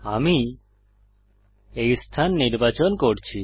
আমি এই স্থান নির্বাচন করছি